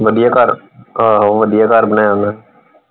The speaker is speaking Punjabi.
ਵਧੀਆ ਘਰ ਆਹੋ ਵਧੀਆ ਘਰ ਬਣਾਇਆ ਓਹਨੇ।